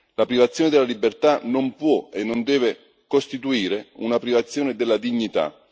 La privazione della libertà non può e non deve costituire una privazione della dignità.